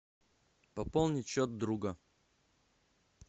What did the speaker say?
пополнить счет друга